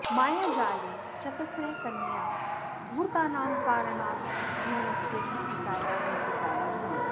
मायाजाले चतस्रः कन्याः धूर्तानां कारणाज्जीवनस्य शुचिताया वञ्चिताः भवन्ति